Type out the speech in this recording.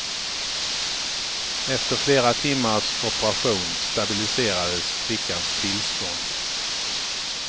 Efter flera timmars operation stabiliserades flickans tillstånd.